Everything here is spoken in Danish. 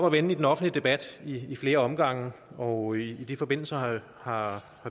at vende i den offentlige debat ad flere omgange og i den forbindelse har har